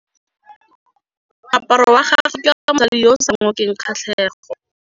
Moaparô wa gagwe ke wa mosadi yo o sa ngôkeng kgatlhegô.